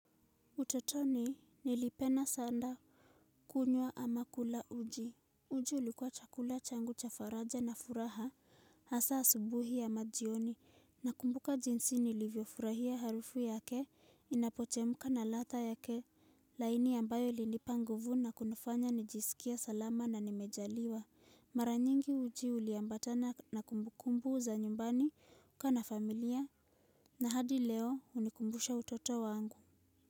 Utotoni nilipena sanda kunywa ama kula uji. Uji ulikuwa chakula changu cha faraja na furaha hasa asubuhi ama jioni nakumbuka jinsi nilivyofurahia harufu yake inapochemka na ladha yake laini ambayo ilinipa nguvu na kunifanya nijisikie salama na nimejaliwa. Mara nyingi uji uliambatana na kumbukumbu za nyumbani kukaa na familia na hadi leo hunikumbusha utoto wangu.